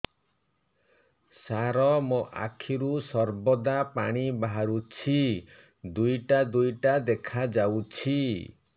ସାର ମୋ ଆଖିରୁ ସର୍ବଦା ପାଣି ବାହାରୁଛି ଦୁଇଟା ଦୁଇଟା ଦେଖାଯାଉଛି